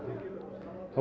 þá